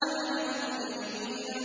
عَنِ الْمُجْرِمِينَ